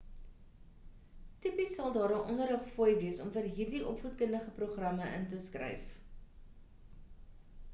tipies sal daar 'n onderrigfooi wees om vir hierdie opvoedkundige programme in te skryf